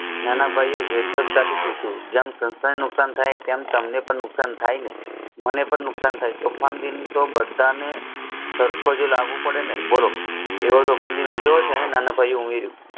નાનાભાઈ એ વેંધતાથી પૂછ્યું જેમ સંસ્થાયી નુકસાન થાય તેમ તમને પણ નુકસાન થાય ને મને તો નુકસાહન થાય તોફાન દિન તો બધાને સરખોજ લાગુ પડે ને બોલો તેઓ પણ એ દિન ઉજવે છે ને નાનાભાઈ